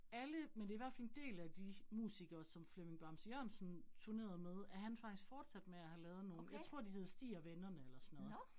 Alle men det i hvert fald en del af de musikere, som Flemming Bamse Jørgensen turnerede med, er han faktisk fortsat med at have lavet nogle jeg tror de hed Stig & Vennerne eller sådan noget